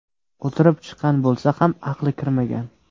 O‘tirib chiqqan bo‘lsa ham, aqli kirmagan.